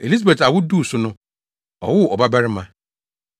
Elisabet awo duu so no, ɔwoo ɔbabarima.